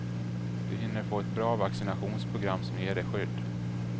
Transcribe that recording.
Då hinner du få ett bra vaccinationprogram som ger dig skydd.